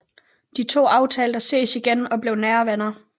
De to aftalte at ses igen og blev nære venner